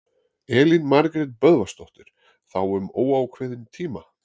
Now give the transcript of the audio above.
Elín Margrét Böðvarsdóttir: Þá um óákveðinn tíma?